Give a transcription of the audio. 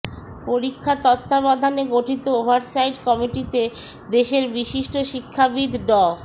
পরীক্ষা তত্ত্বাবধানে গঠিত ওভারসাইট কমিটিতে দেশের বিশিষ্ট শিক্ষাবিদ ড